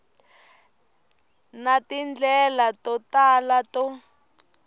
na tindlela to tala to